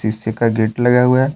AC का gate लगा हुआ है।